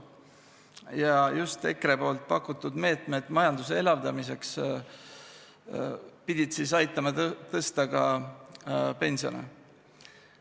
Ja just EKRE poolt pakutud meetmed majanduse elavdamiseks pidid aitama tõsta ka pensione.